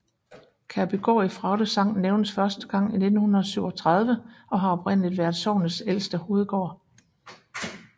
Kærbygård i Fraugde Sogn nævnes første gang i 1397 og har oprindeligt været sognets ældste hovedgård